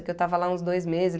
É que eu estava lá uns dois meses.